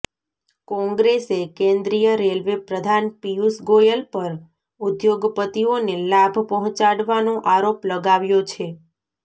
કોંગ્રેસે કેન્દ્રીય રેલવે પ્રધાન પીયૂષ ગોયલ પર ઉદ્યોગપતિઓને લાભ પહોંચાડવાનો આરોપ લગાવ્યો છે